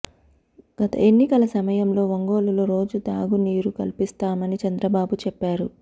గత ఎన్నికల సమయంలో ఒంగోలులో రోజు త్రాగునీరు కల్పిస్తామని చంద్రబాబు చెప్పారు